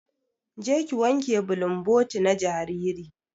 Je ki wanke bulumboti na jariri.